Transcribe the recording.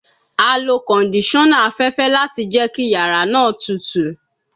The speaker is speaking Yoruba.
A lo kondisona afẹfẹ lati jẹ ki yara naa tutu